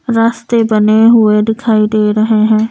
रास्ते बने हुए दिखाई दे रहे हैं।